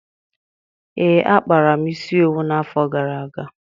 Ee, akpara m isi owu n'afọ gara aga